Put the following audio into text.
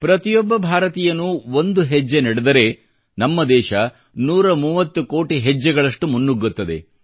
ಪ್ರತಿಯೊಬ್ಬ ಭಾರತೀಯನೂ ಒಂದು ಹೆಜ್ಜೆ ನಡೆದರೆ ನಮ್ಮ ದೇಶವು 130 ಕೋಟಿ ಹೆಜ್ಜೆಗಳಷ್ಟು ಮುನ್ನುಗ್ಗುತ್ತದೆ